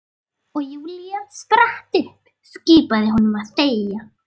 Og Júlía spratt upp, skipaði honum að þegja.